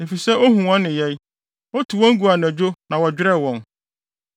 Efisɛ ohu wɔn nneyɛe, otu wɔn gu anadwo na wɔdwerɛw wɔn.